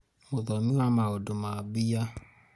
mũthomi wa maũndũ ma mbia